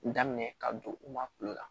Daminɛ ka don u ma kulo la